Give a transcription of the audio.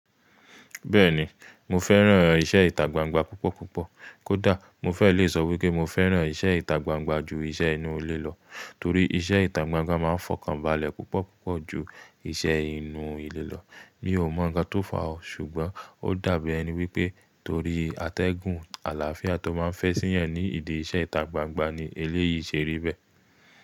Bẹ́ẹ̀ni, mo fẹ́ràn iṣẹ́ ìtagbangba púpọ̀ púpọ̀. Kódà mo fẹ́ le sọ wípé mo fẹ́ràn iṣẹ́ ìtagbangba ju iṣẹ́ inú ilé lọ, torí iṣẹ́ ìtagbangba ma ń fọkànbalẹ̀ púpọ̀ púpọ̀ ju iṣẹ́ inú ilé lọ. Mi ò mọ̀ nǹkan tó fà á, ṣùgbọ́n ó dàbí ẹni wípé torí àtẹ́gùn àlàáfíà tó máa ń fẹ́ síyàn ni ìdí iṣẹ́ ìtagbangba ni eléyìí ṣe rí bẹ́ẹ̀.